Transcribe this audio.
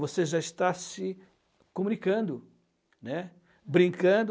Você já está se comunicando, né, brincando.